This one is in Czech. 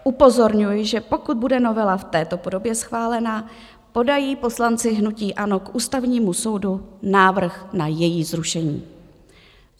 Upozorňuji, že pokud bude novela v této podobě schválena, podají poslanci hnutí ANO k Ústavnímu soudu návrh na její zrušení.